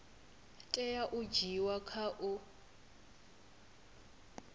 tea u dzhiiwa kha u